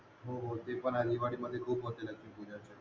हो हो ते पण आहे दिवाळीमध्ये खुप होते लक्ष्मी पूजाचे